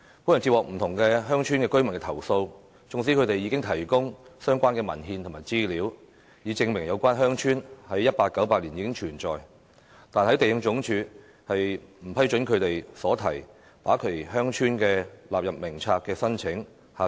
本人接獲不同鄉村居民的投訴，縱使他們已提供相關文獻及資料，以證明有關鄉村自1898年起已存在，但地政總署仍不批准他們所提把其鄉村納入《名冊》的申請。